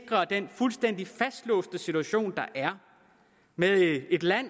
den fuldstændig fastlåste situation der er med et land